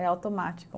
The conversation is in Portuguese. É automático.